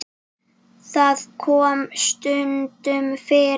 Það kom stundum fyrir.